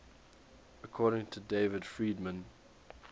according to david friedman